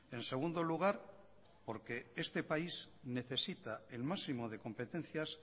en segundo lugar porque este país necesita el máximo de competencias